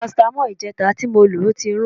Parasítámọ̀ ìjẹta tí mo lò ti rún